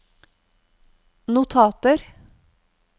notater